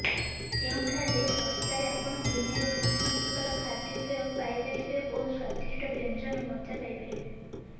ଯେଉଁଠାରେ ଶସ୍ତାରେ ଆପଣ ଦୁନିଆର ବିଭିନ୍ନ ପ୍ରକାର ଖାଦ୍ୟପେୟ ପାଇପାରିବେ ଓ ସ୍ୱାଦିଷ୍ଟ ବ୍ୟଞ୍ଜନର ମଜା ନେଇପାରିବେ